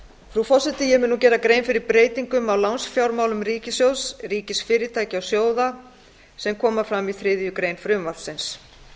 frú forseti ég mun nú gera grein fyrir breytingum á lánsfjármálum ríkissjóðs ríkisfyrirtækja og sjóða sem fram koma í þriðju greinar frumvarpsins